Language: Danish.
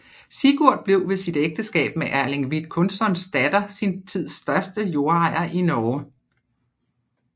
Sigurd blev ved sit ægteskab med Erling Vidkunssons datter sin tids største jordejer i Norge